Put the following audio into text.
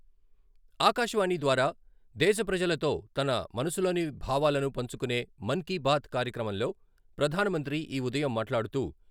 ఆకాశవాణి ద్వారా దేశ ప్రజలతో తన మనసులోని భావాలను పంచుకునే 'మన్ కీ బాత్' కార్యక్రమంలో ప్రధానమంత్రి ఈ ఉదయం మాట్లాడుతూ..